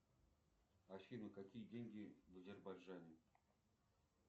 афина какие деньги в азербайджане